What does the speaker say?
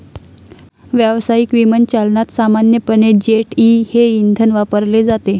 व्यावसायिक विमानचालनात सामान्यपणे जेट ई हे इंधन वापरले जाते.